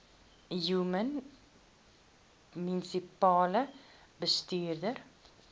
human munisipale bestuurder